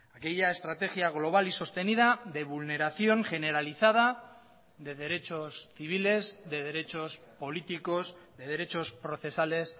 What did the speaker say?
aquella estrategia global y sostenida de vulneración generalizada de derechos civiles de derechos políticos de derechos procesales